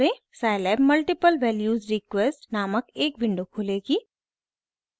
scilab multiple values request नामक एक window खुलेगी